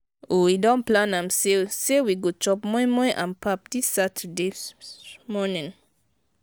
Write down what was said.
we don plan am sey sey we go chop moi-moi and pap dis saturday morning.